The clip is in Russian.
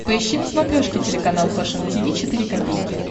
поищи на смотрешке телеканал фэшн ти ви четыре ка